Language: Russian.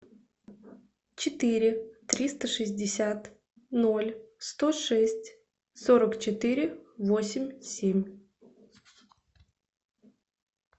четыре триста шестьдесят ноль сто шесть сорок четыре восемь семь